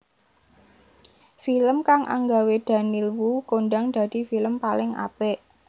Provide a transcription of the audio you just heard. Film kang anggawe Daniel Wu kondhang dadi film paling apik